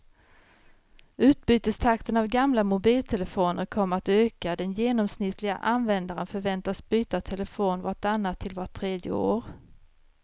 Utbytestakten av gamla mobiltelefoner kommer att öka, den genomsnittliga användaren förväntas byta telefon vart annat till vart tredje år.